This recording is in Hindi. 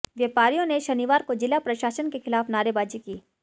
व्यापारियों ने शनिवार को जिला प्रशासन के खिलाफ नारेबाजी की